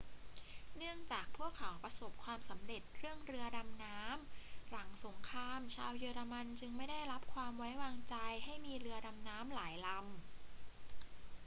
เนื่องจากพวกเขาประสบความสำเร็จเรื่องเรือดำน้ำ หลังสงครามชาวเยอรมันจึงไม่ได้รับความไว้วางใจให้มีเรือลำน้ำหลายลำ